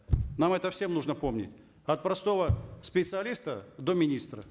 нам это всем нужно помнить от простого специалиста до министра